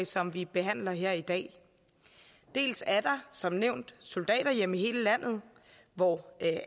som vi behandler her i dag dels er der som nævnt soldaterhjem i hele landet hvor